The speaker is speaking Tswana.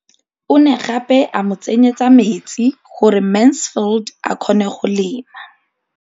O ne gape a mo tsenyetsa metsi gore Mansfield a kgone go lema.